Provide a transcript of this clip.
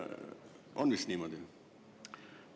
On vist niimoodi?